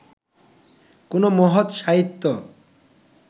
কোনো মহৎ সাহিত্য